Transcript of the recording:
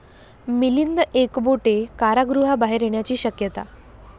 मिलिंद एकबोटे कारागृहाबाहेर येण्याची शक्यता